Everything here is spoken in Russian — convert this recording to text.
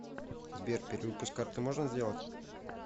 сбер перевыпуск карты можно сделать